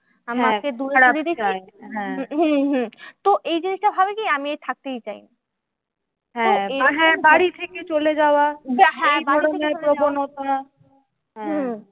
হম হম তো এই জিনিসটা ভাবে কি আমি থাকতেই চাই না।